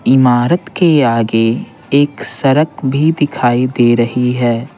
इमारत के आगे एक सरक भी दिखाई दे रही है।